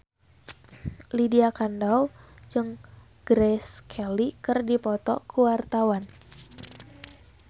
Lydia Kandou jeung Grace Kelly keur dipoto ku wartawan